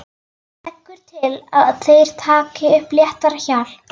Leggur til að þeir taki upp léttara hjal.